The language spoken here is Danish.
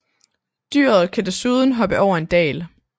Dyret kan desuden hoppe over en dal